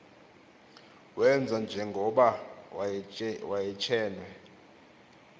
wenza njengoba wayetshenwe